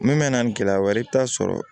Min bɛ na ni gɛlɛya wɛrɛ ye i bɛ taa sɔrɔ